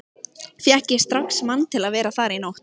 Fékk ég strax mann til að vera þar í nótt.